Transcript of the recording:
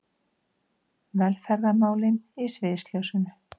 Velferðarmálin í sviðsljósinu